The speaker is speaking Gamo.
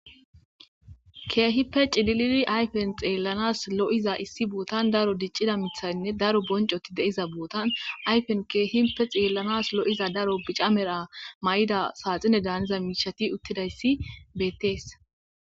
Kehippe chilidi ayifeni xeelaanasi loiza issi botani daro diccida miththayi daro bonchchoti deiza botani ayifeni kehippe xeelaanasi daro bicca mala mayida saxineda haniza mishshazi utidayisi beteesi